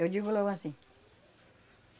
Eu digo logo assim.